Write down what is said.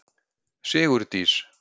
Sigurdís